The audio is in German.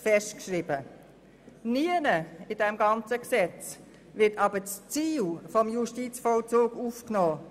Nirgends in diesem Gesetz wird aber das Ziel des Justizvollzugs aufgenommen;